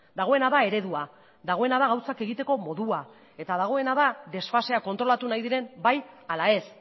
dagoena da eredua dagoena da gauzak egiteko modua eta dagoena da desfaseak kontrolatu nahi diren bai ala ez